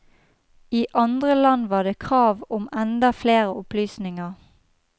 I andre land var det krav om enda flere opplysninger.